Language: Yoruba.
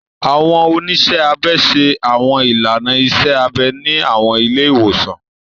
Àwọn oniṣẹ abẹ ṣe Àwọn ilàná iṣẹ abẹ ni àwọn ile iwosan.